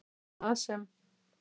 En það sem